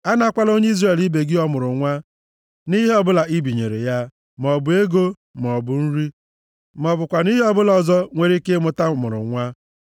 A nakwala onye Izrel ibe gị ọmụrụnwa, nʼihe ọbụla i binyere ya, maọbụ ego, maọbụ nri, ma ọ bụkwanụ ihe ọbụla ọzọ nwere ike ịmụta ọmụrụnwa.